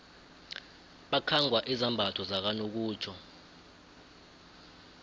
bakhangwa izambatho zakanokutjho